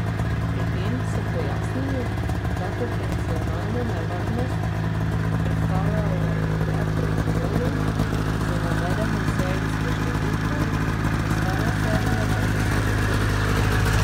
Pri tem so pojasnili, da potencialno nevarnost predstavljajo le proizvodi z navedeno serijsko številko, ostale serije pa niso oporečne.